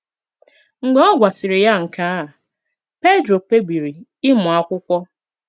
Mgbe ọ gwasịrị ya nke a, Pedro kpebiri ịmụ akwụkwo